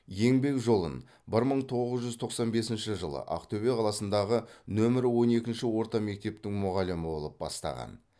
еңбек жолын бір мың тоғыз жүз тоқсан бесінші жылы ақтөбе қаласындағы нөмір он екі орта мектептің мұғалімі болып бастаған